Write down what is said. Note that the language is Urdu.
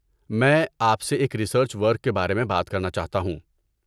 میں آپ سے ایک ریسرچ ورک کے بارے میں بات کرنا چاہتا ہوں۔